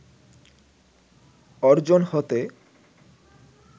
অর্জন হতে